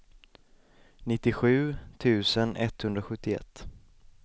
nittiosju tusen etthundrasjuttioett